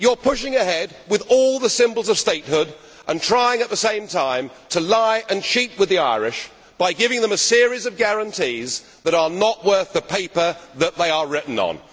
You are pushing ahead with all the symbols of statehood and trying at the same time to lie and cheat to the Irish by giving them a series of guarantees that are not worth the paper that they are written on.